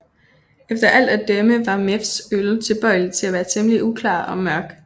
Efter alt at dømme var Mews øl tilbøjelig til at være temmelig uklar og mørk